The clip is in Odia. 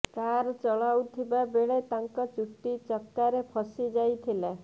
କାର୍ ଚଳାଉଥିବା ବେଳେ ତାଙ୍କ ଚୁଟି ଚକାରେ ଫସି ଯାଇଥିଲା